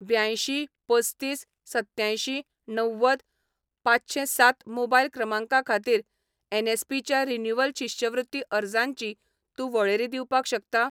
ब्यांयशीं पस्तीस सत्त्यांयशीं णव्वद पांचशेंसात मोबायल क्रमांका खातीर एनएसपी च्या रिन्यूवल शिश्यवृत्ती अर्जांची तूं वळेरी दिवपाक शकता?